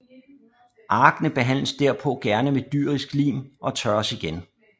Arkene behandles derpå gerne med dyrisk lim og tørres igen